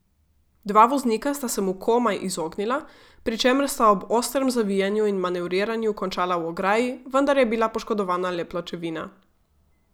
Dva voznika sta se mu komaj izognila, pri čemer sta ob ostrem zaviranju in manevriranju končala v ograji, vendar je bila poškodovana le pločevina.